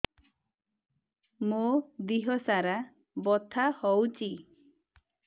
ମୋ ଦିହସାରା ବଥା ହଉଚି